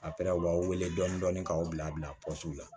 A u b'a wele dɔɔnin k'aw bila bila la